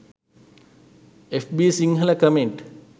fb sinhala comment